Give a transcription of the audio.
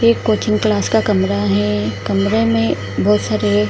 एक coaching class का कमरा है कमरे में बहुत सारे --